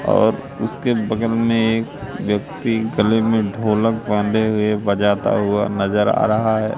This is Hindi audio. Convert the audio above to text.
और उसके बगल में एक व्यक्ति गले में ढोलक बांधे हुए बजाता हुआ नजर आ रहा है।